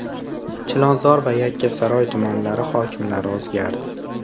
Chilonzor va Yakkasaroy tumanlari hokimlari o‘zgardi.